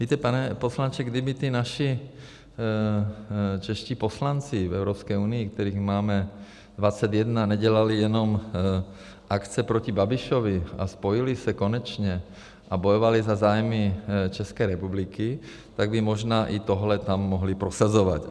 Víte, pane poslanče, kdyby ti naši čeští poslanci v Evropské unii, kterých máme 21, nedělali jenom akce proti Babišovi a spojili se konečně a bojovali za zájmy České republiky, tak by možná i tohle tam mohli prosazovat.